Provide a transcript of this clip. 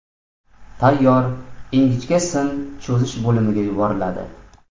Tayyor ingichka sim cho‘zish bo‘limiga yuboriladi.